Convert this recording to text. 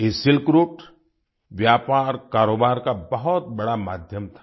ये silk route व्यापारकारोबार का बहुत बड़ा माध्यम था